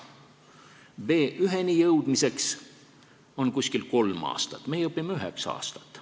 B1-ni jõudmiseks on vaja umbes kolme aastat, meie õpime üheksa aastat.